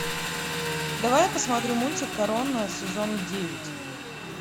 давай я посмотрю мультик корона сезон девять